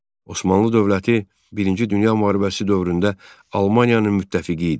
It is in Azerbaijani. Osmanlı dövləti birinci Dünya müharibəsi dövründə Almaniyanın müttəfiqi idi.